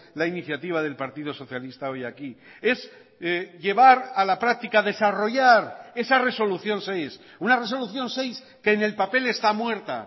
la iniciativa del partido socialista hoy aquí es llevar a la práctica desarrollar esa resolución seis una resolución seis que en el papel está muerta